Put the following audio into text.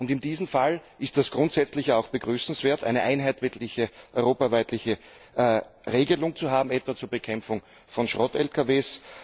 In diesem Fall ist es grundsätzlich auch begrüßenswert, eine einheitliche europaweite Regelung zu haben, etwas zur Bekämpfung von Schrott Lkws.